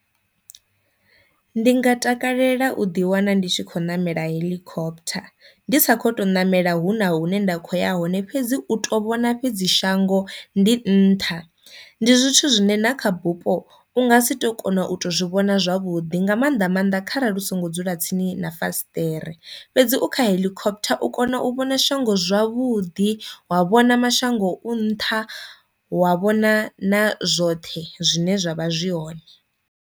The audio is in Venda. Ndi nga takalela u ḓi wana ndi tshi khou namela heḽikophotha ndi sa kho to ṋamela hu na hune nda kho ya hone fhedzi u to vhona fhedzi shango ndi nṱha, ndi zwithu zwine na kha bupo u nga si tu kona u to zwi vhona zwavhuḓi nga maanḓa maanḓa kharali u songo dzula tsini na fasiṱere, fhedzi u kha heḽikophotha u kona u vhona shango zwavhuḓi wa vhona mashango u nṱha wa vhona na zwoṱhe zwine zwavha zwi hone.